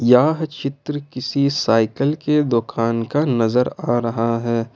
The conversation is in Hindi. यह चित्र किसी साइकल के दोकान का नजर आ रहा है।